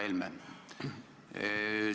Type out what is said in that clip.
Härra Helme!